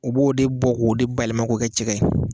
U b'o de bɔ k'o de bayɛlɛma k'o kɛ cɛgɛ ye